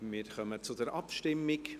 Wir kommen zur Abstimmung.